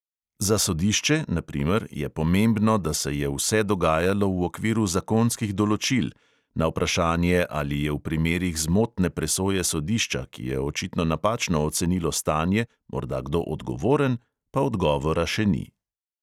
Za sodišče, na primer, je pomembno, da se je vse dogajalo v okviru zakonskih določil, na vprašanje, ali je v primerih zmotne presoje sodišča, ki je očitno napačno ocenilo stanje, morda kdo odgovoren, pa odgovora še ni.